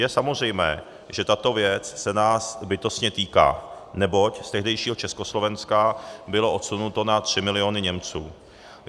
Je samozřejmé, že tato věc se nás bytostně týká, neboť z tehdejšího Československa bylo odsunuto na 3 miliony Němců.